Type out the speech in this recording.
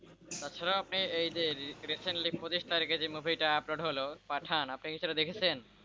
তাছাড়া আপনি এই যে recently পঁচিশ তারিখে মুভিটা upload হলো পাঠান আপনি কি সেটা দেখেছেন?